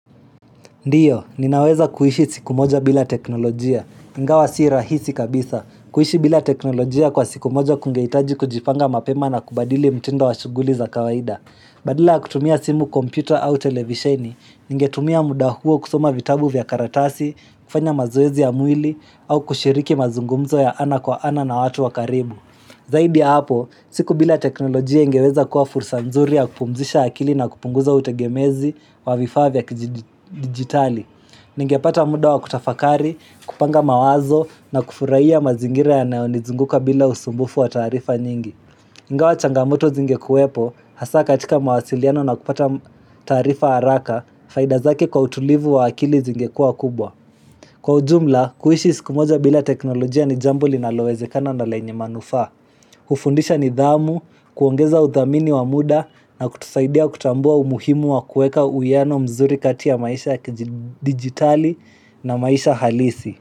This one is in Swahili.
Ndiyo, ninaweza kuishi siku moja bila teknolojia. Ingawa si rahisi kabisa, kuishi bila teknolojia kwa siku moja kungehitaji kujipanga mapema na kubadili mtindo wa shughuli za kawaida. Badala kutumia simu kompyuta au televisheni, ningetumia muda huo kusoma vitabu vya karatasi, kufanya mazoezi ya mwili, au kushiriki mazungumzo ya ana kwa ana na watu wakaribu. Zaidi ya hapo, siku bila teknolojia ingeweza kuwa fursa nzuri ya kupumzisha akili na kupunguza utegemezi wa vifaa vya kijidigitali. Ningepata muda wa kutafakari, kupanga mawazo na kufurahiya mazingira yanayo nizunguka bila usumbufu wa tarifa nyingi. Ingawa changamoto zingekuwepo, hasa katika mawasiliano na kupata tarifa haraka, faida zake kwa utulivu wa akili zingekua kubwa. Kwa ujumla, kuishi siku moja bila teknolojia ni jambo linalowezekana na lenye manufaa. Kufundisha nidhamu, kuongeza udhamini wa muda na kutusaidia kutambua umuhimu wa kuweka uwiyano mzuri kati ya maisha digitali na maisha halisi.